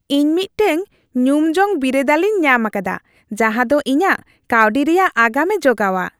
ᱤᱧ ᱢᱤᱫᱴᱟᱝ ᱧᱩᱢᱡᱚᱝ ᱵᱤᱨᱟᱹᱫᱟᱹᱞᱤᱧ ᱧᱟᱢ ᱟᱠᱟᱫᱟ ᱡᱟᱦᱟᱸᱫᱚ ᱤᱧᱟᱹᱜ ᱠᱟᱹᱣᱰᱤ ᱨᱮᱭᱟᱜ ᱟᱜᱟᱢᱮ ᱡᱚᱜᱟᱣᱟ ᱾